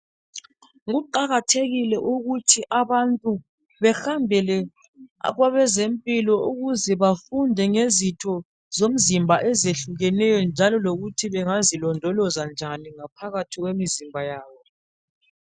Kuqakathekile ukuthi abantu behambele kwabezempilo ukuze bafunde ngezitho zomzimba ezehlukeneyo njalo lokuthi bengazilondoloza njani ngaphathi kwemizimba yabo